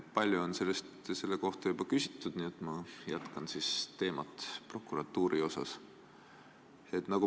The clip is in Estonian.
Palju on selle kohta juba küsitud, nii et ma siis jätkan prokuratuuri teemat.